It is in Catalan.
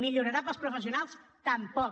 millorarà per als professionals tampoc